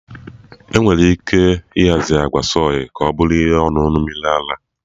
E nwere ike ịhazi agwa soy ka ọ bụrụ ihe ọṅụṅụ mmiri ara.